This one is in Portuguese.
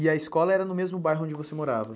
E a escola era no mesmo bairro onde você morava?